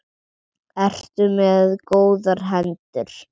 Ertu með góðar hendur?